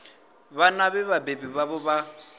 vhana vhe vhabebi vhavho vha